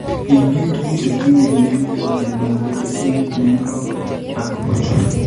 Ibiit tuguuk che tinye neem koboto Nimbecidine, Neemroc 0.03% and Achook 0.15%,